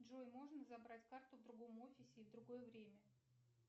джой можно забрать карту в другом офисе и в другое время